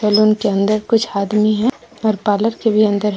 Salon के अंदर कुछ आदमी है और पार्लर के भी अंदर है।